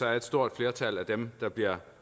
har et stort flertal af dem der bliver